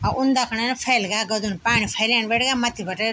अ उन्दा खणा फ़ैल ग्या गदन पानी फेलेन बैठ ग्या मथ्थी बटे।